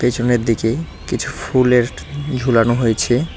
পেছনের দিকে কিছু ফুলের ট ঝুলানো হয়েছে।